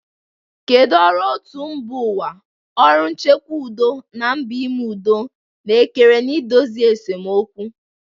Kedu ọrụ otu mba ụwa, ọrụ nchekwa udo, na mbọ ime udo na-ekere na idozi esemokwu?